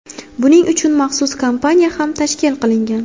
Buning uchun maxsus kompaniya ham tashkil qilingan.